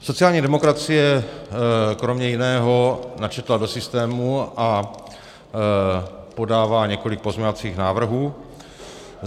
Sociální demokracie kromě jiného načetla do systému a podává několik pozměňovacích návrhů.